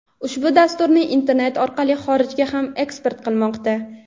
ushbu dasturni internet orqali xorijga ham eksport qilmoqda.